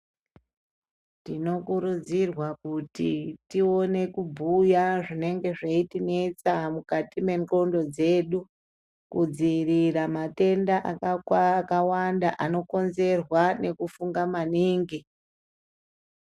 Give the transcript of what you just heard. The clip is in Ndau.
Tinokurudzirwa kuti tione kubhuya zvinenge zveitinetsa mukati mendxondo dzedu kudziiririra matenda akawanda anokonzerwa nekufunga maningi.